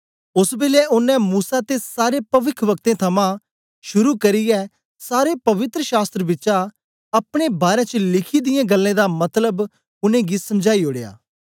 ओस बेलै ओनें मूसा ते सारे पविखवक्तें थमां शुरू करियै सारे पवित्र शास्त्र बिचा अपने बारै च लिखी दियें गल्लें दा मतलब उनेंगी समझाई ओड़या